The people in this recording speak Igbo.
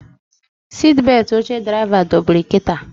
Sitbetị oche draịva dobiri kịta